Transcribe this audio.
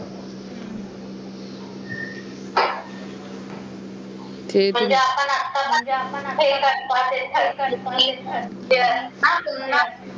म्हणजे आपण आता